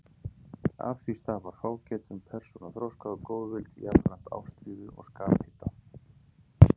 Af því stafar fágætum persónuþroska og góðvild, jafnframt ástríðu og skaphita.